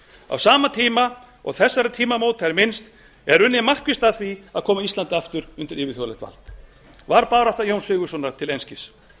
á sama tíma og þessara tímamóta er minnst er unnið markvisst að því að koma íslandi aftur undir yfirþjóðlegt vald var barátta jóns sigurðssonar til einskis